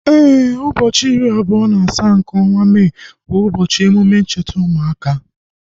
Éè, ụbọchị iri abụọ na asaa nke ọnwa Mee bu ubochi emume ncheta ụmụaka